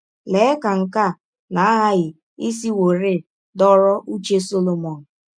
Lee ka nke a na - aghaghị isiwọrị dọrọ ụche Solomọn!